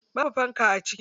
Babu fanka a ciki.